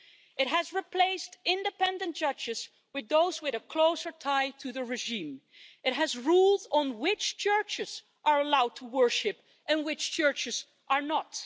It has replaced independent judges with those with a closer tie to the regime. It has rules on which churches are allowed to worship and which churches are not.